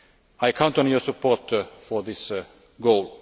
I count on your support for this goal.